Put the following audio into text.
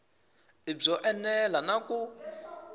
i byo enela na ku